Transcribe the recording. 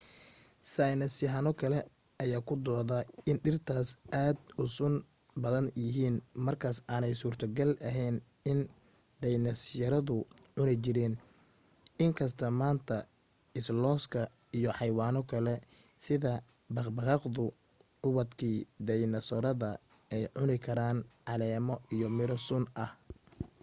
saynisyahano kale ayaa ku dooda in dhirtaas aad u sun badan yihiin markaas aanay suurtogal ahayn in dhaynasooradu cuni jireen in kasta maanta islooska iyo xaywaano kale sida baqbaqaaqdu ubadkii dhaynasoorada ay cuni karaan caleemo iyo miro sun ah